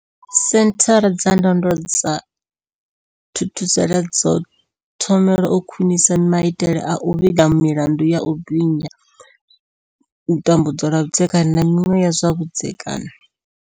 Senthara dza ndondolo dza Thuthuzela dzo thoma u khwinisa maitele a u vhiga milandu ya u binya, tambudzwa lwa vhudzekani, na miṅwe ya zwa vhudzekani.